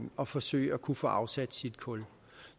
at forsøge at kunne få afsat sit kul